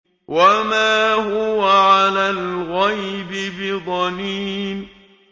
وَمَا هُوَ عَلَى الْغَيْبِ بِضَنِينٍ